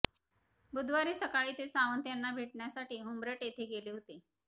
बुधवारी सकाळी ते सावंत यांना भेटण्यासाठी हुंबरट येथे गेले होते